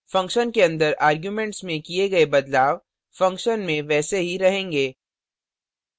function के अंदर arguments में किए गए बदलाव function में वैसे ही रहेंगे